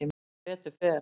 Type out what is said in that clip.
Sem betur fer.